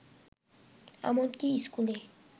এমনকি স্কুলে